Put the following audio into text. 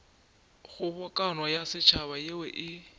kgobokano ya setšhaba yeo e